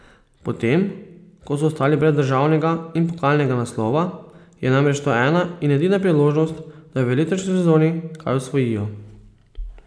Potem ko so ostali brez državnega in pokalnega naslova, je namreč to ena in edina priložnost, da v letošnji sezoni kaj osvojijo.